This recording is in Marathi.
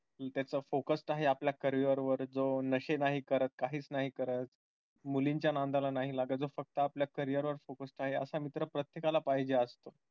त्याचा focus आहे आपल्या career वर जो नाशे नाही करत काही नाही करत मुलींच्या नादाला नाही लागत जो फक्त आपल्या career वर focused आहे. असा मित्र प्रत्येकाला पाहिजे आज